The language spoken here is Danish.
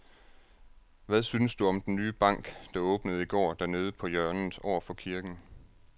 Hvad synes du om den nye bank, der åbnede i går dernede på hjørnet over for kirken?